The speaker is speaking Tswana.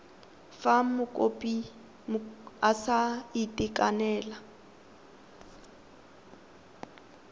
fa mokopi a sa itekanela